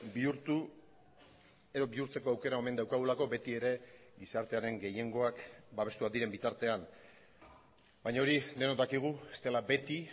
bihurtu edo bihurtzeko aukera omen daukagulako beti ere gizartearen gehiengoak babestuak diren bitartean baina hori denok dakigu ez dela beti